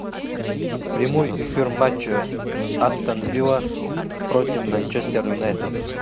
прямой эфир матча астон вилла против манчестер юнайтед